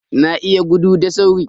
Na iya gudu da sauri.